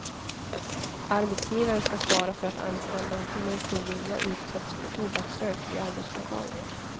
Arbetsgivare ska svara för att anställda inte mot sin vilja utsätts för tobaksrök i arbetslokalen.